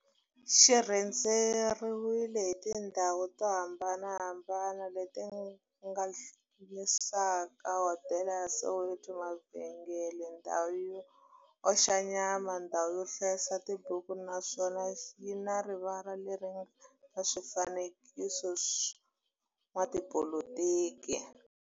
xi rhendzeriwile hi tindhawu to hambanahambana le ti hlanganisaka, hodela ya Soweto, mavhengele, ndhawu yo oxa nyama, ndhawu yo hlayisa tibuku, naswona yi na rivala le ri nga na swifanekiso swa vo n'watipolitiki.